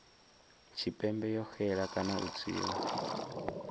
tshipembe yo xela kana u tswiwa